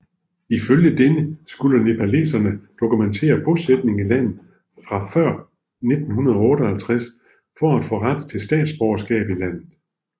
Ifølge denne skulle nepalesere dokumentere bosætning i landet fra før 1958 for at få ret til statsborgerskab i landet